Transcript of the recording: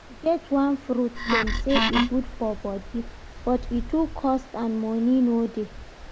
E get one fruit dem say e good for body but e too cost and money no dey